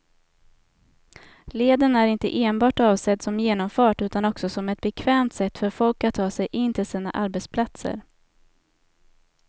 Leden är inte enbart avsedd som genomfart utan också som ett bekvämt sätt för folk att ta sig in till sina arbetsplatser.